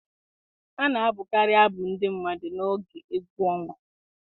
A na-abụkarị abụ ndị mmadụ n'oge egwu ọnwa